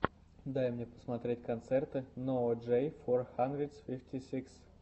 дай мне посмотреть концерты ноа джей фор хандридс фифти сикс